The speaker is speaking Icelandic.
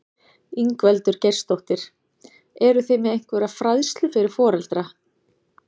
Ingveldur Geirsdóttir: Eruð þið með einhverja fræðslu fyrir foreldra?